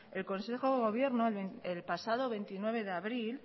el consejo de gobierno el pasado veintinueve de abril